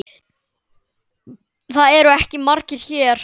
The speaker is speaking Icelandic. Þeir eru ekki margir hér.